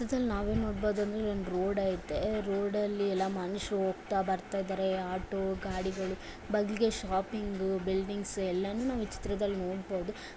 ಈ ಚಿತ್ರದಲ್ಲಿ ನಾವು ನೋಡಬಹುದು ಒಂದು ರೋಡ್ ಆಯ್ತೆ ರೋಡಲ್ಲಿ ಎಲ್ಲ ಮನುಷ್ಯರು ಹೋಗ್ತಾ ಬರ್ತಾ ಇದ್ದಾರೆ ಆಟೋ ಗಾಡಿಗಳು ಬಗ್ಲಿಗೆ ಶಾಪಿಂಗ್ ಬಿಲ್ಡಿಂಗ್ಸ್ ಎಲ್ಲವನ್ನು ಈ ಚಿತ್ರದಲ್ಲಿ ನಾವು ನೋಡಬಹುದು.